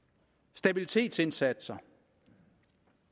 stabilitetsindsatser